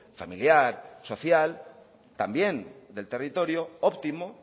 familiar social también del territorio óptimo